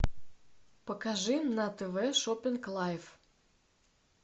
покажи на тв шоппинг лайф